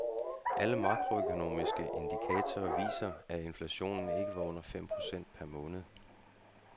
Alle makroøkonomiske indikatorer viser, at inflationen ikke var under fem procent per måned.